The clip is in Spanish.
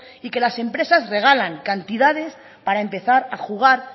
y que las empresas regalan cantidades para empezar a jugar